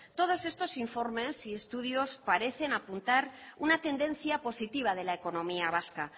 todos estos informes y estudios parecen apuntar una tendencia positiva de la economía vasca